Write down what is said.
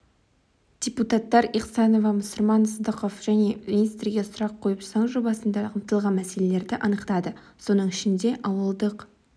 депутаттар ихсанова мұсырман сыздықов және министрге сұрақ қойып заң жобасында қамтылған мәселелерді анықтады соның ішінде ауылдық